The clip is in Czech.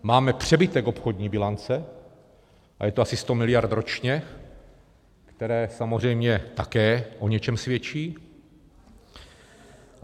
Máme přebytek obchodní bilance a je to asi 100 miliard ročně, které samozřejmě také o něčem svědčí.